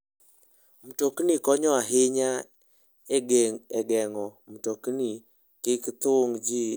Mtoknigo konyo ahinya e geng'o mtokni kik thung' ji e kinde mag nyasi.